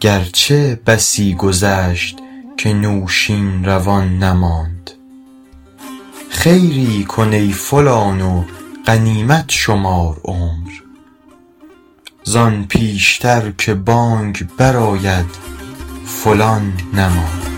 گرچه بسی گذشت که نوشین روان نماند خیری کن ای فلان و غنیمت شمار عمر زآن پیشتر که بانگ بر آید فلان نماند